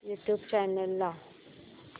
YouTube channel लाव